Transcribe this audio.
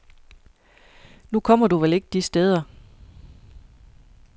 Nu kommer du vel ikke de steder.